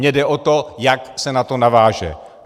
Mně jde o to, jak se na to naváže.